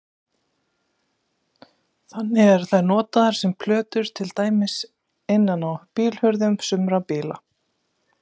Þannig eru þær notaðar sem plötur til dæmis innan á bílhurðum sumra bíla.